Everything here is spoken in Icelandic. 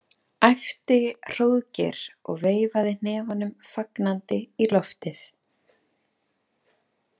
æpti Hróðgeir og veifaði hnefanum fagnandi í loftið.